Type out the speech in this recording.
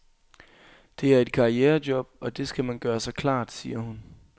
Det er et karrierejob, og det skal man gøre sig klart, siger hun.